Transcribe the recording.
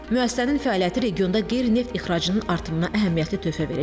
Müəssisənin fəaliyyəti regionda qeyri-neft ixracının artımına əhəmiyyətli töhfə verəcək.